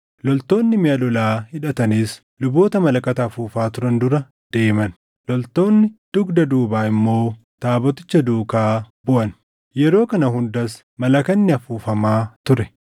Loltoonni miʼa lolaa hidhatanis luboota malakata afuufaa turan dura deeman; loltoonni dugda duubaa immoo taaboticha duukaa buʼan. Yeroo kana hundas malakanni afuufamaa ture.